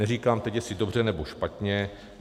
Neříkám teď, jestli dobře, nebo špatně.